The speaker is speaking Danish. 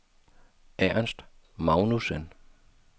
Ernst Magnussen